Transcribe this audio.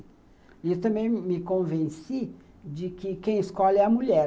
E também me convenci de que quem escolhe é a mulher.